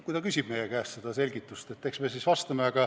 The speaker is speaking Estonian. Kui ta küsib meie käest seda selgitust, eks me siis vastame.